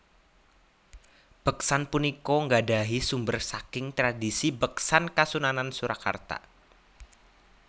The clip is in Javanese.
Beksan punika nggadahi sumber saking tradisi beksan Kasunanan Surakarta